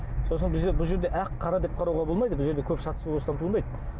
сосын бұл жерде ақ қара деп қарауға болмайды бұл жерде көп шатыс туындайды